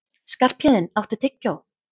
Skarphéðinn, áttu tyggjó?